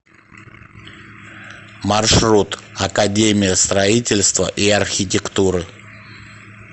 маршрут академия строительства и архитектуры